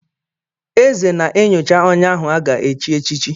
Eze na-enyocha onye ahụ aga-echi echichi.